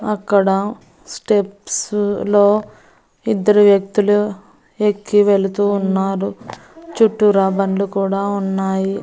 అక్కడ స్టెప్సు లో ఇద్దరు వ్యక్తులు ఎక్కి వెళుతూ ఉన్నారు చుట్టూరా బండ్లు కూడా ఉన్నాయి.